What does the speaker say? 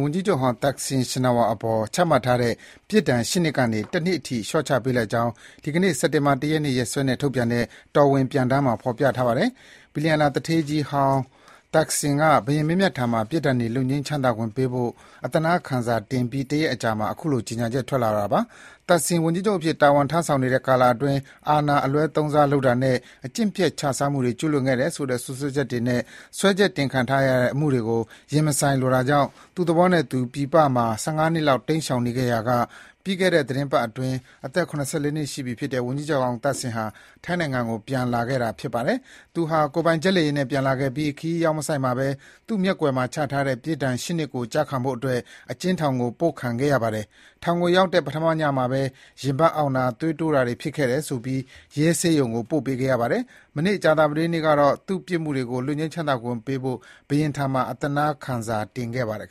ဝန်ကြီးချုပ်ဟောင်း သက်ဆင်ရှင်နာဝပ် (Thaksin Shinawatra) အပေါ် ချမှတ်ထားတဲ့ ပြစ်ဒဏ် ၈ နှစ်ကနေ ၁ နှစ် အထိ ထိုင်းဘုရင်က လျှော့ပေါ့ပေးလိုက်ကြောင်း ဒီကနေ့ စက်တင်ဘာလ ၁ ရက်နေ့ရက်စွဲနဲ့ ထုတ်ပြန်တဲ့ တော်ဝင်ပြန်တမ်းမှာ ဖော်ပြထားပါတယ်။ ဘီလီယံနာသူဌေး ဝန်ကြီးဟောင်းသက်ဆင်က ဘုရင်မင်းမြတ်ထံမှာ ပြစ်ဒဏ်တွေ လွတ်ငြိမ်းချမ်းသာခွင့်ပေးဖို့ အသနားခံစာတင်ပြီး တရက်အကြာမှာ အခုလို ကြေညာချက် ထွက်လာတာပါ။ သက်ဆင် ဝန်ကြီးချုပ်အဖြစ် တာဝန်ထမ်းဆောင်နေတဲ့ကာလအတွင်း အာဏာအလွဲသုံးစားလုပ်မှု အကျင့်ပျက် ခြစားမှုတွေ ကျူးလွန်ခဲ့တယ်ဆိုပြီး တရားစွဲထားတဲ့ အမှုတွေကို ရင်မဆိုင်လိုတာကြောင့် သူ့သဘောနဲ့သူ ပြည်ပမှာ ၁၅ နှစ်လောက် ရှောင်တိမ်းနေခဲ့ရာကပြီးခဲ့တဲ့သီတင်းပတ်ကမှ အသက် ၇၄ နှစ်ရှိပြီဖြစ်တဲ့ ဝန်ကြီးချုပ်ဟောင်း သက်ဆင်ဟာ ထိုင်းနိုင်ငံကို ပြန်လာခဲ့တာပါ။ သူ့ကိုယ်ပိုင် ဂျက်လေယာဉ်နဲ့ ပြန်လာခဲ့ပြီး ခရီးရောက် မဆိုက်မှာဘဲ သူ့မျက်ကွယ်မှာချထားတဲ့ ပြစ်ဒဏ် ၈ နှစ်ကို ကျခံဖို့အတွက် အကျဉ်းထောင်ကို ပို့ခံခဲ့ရပါတယ်။ ထောင်ကိုရောက်တဲ့ ပထမညမှာဘဲ ရင်ဘတ်အောင့်တယ်၊ သွေးတိုးတယ်လို့ဆိုပြီး ရဲဆေးရုံကို ပို့ခဲ့ပါတယ်။ မနေ့ ကြာသပတေးနေ့ကတော့ သူ့ပြစ်မှုတွေကို လွတ်ငြိမ်းချမ်းသာခွင့်ပေးဖို့ ဘုရင့်ထံမှာ အသနားခံစာတင်ခဲ့ပါတယ်